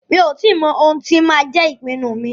Mi ò tí mọ ohun tí máa jẹ́ ìpinnu mi.